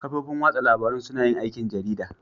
Kafofin watsa labarun suna yin aikin jarida